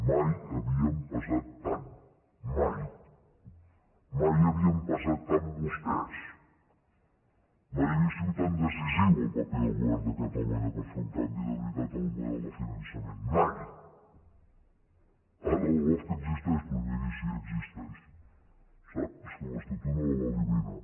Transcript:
mai havíem pesat tant mai mai havien pesat tant vostès mai havia sigut tan decisiu el paper del govern de catalunya per fer un canvi de veritat en el model de finançament mai ara la lofca existeix doncs miri sí existeix sap és que l’estatut no la va eliminar